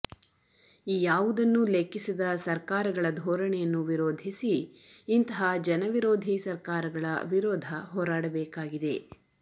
ಈ ಯಾವುದನ್ನೂ ಲೆಕ್ಕಿಸದ ಸಕರ್ಾರಗಳ ಧೋರಣೆಯನ್ನು ವಿರೋಧಿಸಿ ಇಂತಹ ಜನ ವಿರೋಧಿ ಸಕರ್ಾರಗಳ ವಿರೋಧ ಹೋರಾಡಬೇಕಾಗಿದೆ